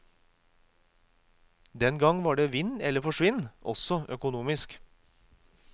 Den gang var det vinn eller forsvinn også økonomisk.